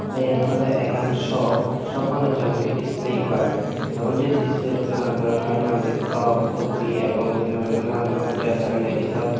tey iyen olodey ekkan shop shoppanot jemon ki display ekku agey te undi display but nanan doronor he nang hoidey frock kurti ebong he nanghoidey nana doronor dress agey ladisor .